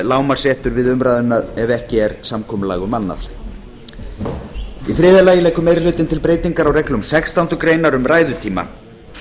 lágmarksréttur við umræðuna ef ekki er samkomulag um annað í þriðja lagi leggur meiri hlutinn til breytingar á reglum sextándu grein um ræðutíma